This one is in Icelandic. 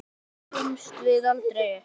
Því gefumst við aldrei upp.